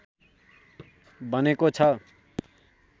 बनेको छ